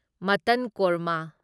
ꯃꯠꯇꯟ ꯀꯣꯔꯃ